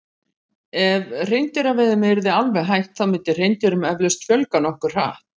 ef hreindýraveiðum yrði alveg hætt þá myndi hreindýrum eflaust fjölga nokkuð hratt